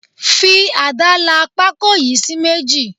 Fi ada la pako yìí sí méjì.